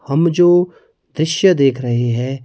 हम जो दृश्य देख रहे हैं।